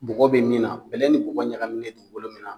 Bɔgɔ be min na bɛlɛ ni bɔgɔ ɲagaminnen dugukolo min na